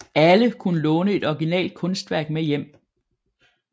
Alle kunne låne et originalt kunstværk med hjem